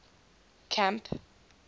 camp